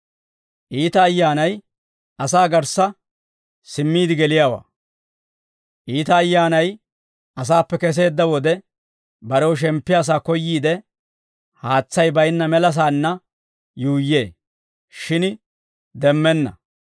«Iita ayyaanay asaappe keseedda wode, barew shemppiyaa sa'aa koyyiide, haatsay baynna melasaanna yuuyyee; shin demmenna.